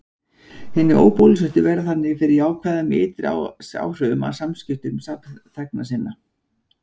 Hinir óbólusettu verða þannig fyrir jákvæðum ytri áhrifum af samskiptum samþegna sinna.